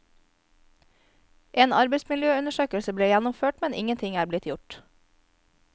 En arbeidsmiljøundersøkelse ble gjennomført, men ingenting er blitt gjort.